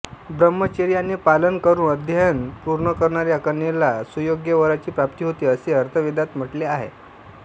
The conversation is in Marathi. ब्रह्मचर्याचे पालन करून अध्ययन पूर्ण करणाऱ्या कन्येला सुयोग्य वराची प्राप्ती होते असे अथर्ववेदात म्हटले आहे